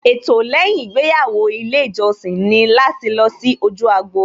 Ètò lẹ́yìn ìgbéyàwó ilé ìjọsìn ni láti lọ sí ojú agbo